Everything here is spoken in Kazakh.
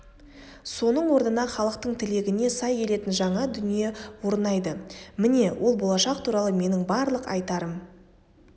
соның орнына халықтың тілегіне сай келетін жаңа дүние орнайды міне ол болашақ туралы менің барлық айтарым